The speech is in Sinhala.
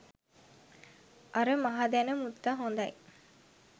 අර මහදැන මුත්ත හොඳයි.